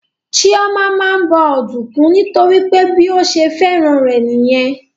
Chioma máa ń bọ ọ̀dùnkún nítorí pé bí ó ṣe fẹ́ràn rẹ̀ nìyẹn